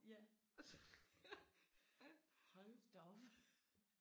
Ja hold da op